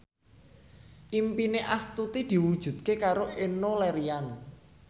impine Astuti diwujudke karo Enno Lerian